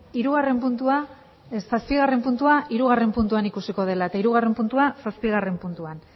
hirugarren puntua ez zazpigarren puntua hirugarren puntuan ikusiko dela eta hirugarren puntua zazpigarren puntuan